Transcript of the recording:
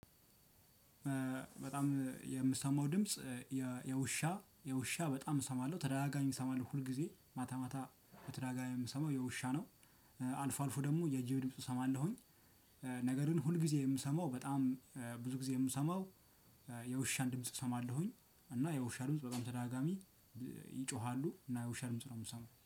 በጣም የምሰማው ድምጽ የውሻ የውሻ በጣም እሰማለሁ ተደጋጋሚ እሰማለሁ ሁልጊዜ ማታ ማታ ተደጋጋሚ የምሰማው የውሻ ነው። አልፎ አልፎ ደሞ የጅብ ድምጽ እሰማለሁኝ። ነገር ግን ሁል ጊዜ የምሰማው በጣም ብዙ ጊዜ የምሰማው የውሻን ድምጽ እሰማለሁኝ እና የውሻ ድምጽ በጣም ተዳጋሚ ይጮሃሉ እና የውሻ ድምጽ ነው የምሰማው